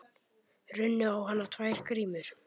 Runnu á hana tvær grímur.